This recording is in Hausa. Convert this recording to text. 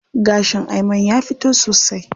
Gashin Ayman ya fito sosai.